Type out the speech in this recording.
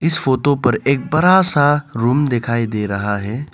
इस फोटो पर एक बड़ा सा रूम दिखाई दे रहा है।